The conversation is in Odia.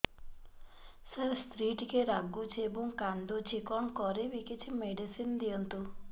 ସାର ସ୍ତ୍ରୀ ଟିକେ ରାଗୁଛି ଏବଂ କାନ୍ଦୁଛି କଣ କରିବି କିଛି ମେଡିସିନ ଦିଅନ୍ତୁ